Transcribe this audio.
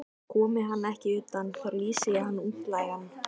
Komi hann ekki utan, þá lýsi ég hann útlægan.